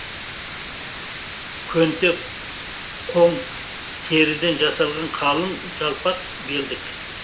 көнте қон теріден жасалған қалың жалпақ белдік